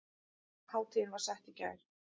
Hátíðin var sett í gær